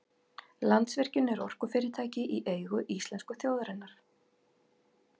Landsvirkjun er orkufyrirtæki í eigu íslensku þjóðarinnar.